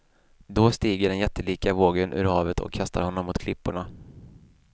Då stiger den jättelika vågen ur havet och kastar honom mot klipporna.